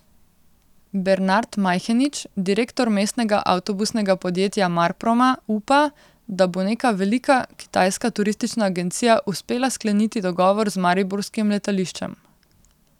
Bernard Majhenič, direktor mestnega avtobusnega podjetja Marproma, upa, da bo neka velika kitajska turistična agencija uspela skleniti dogovor z mariborskim letališčem.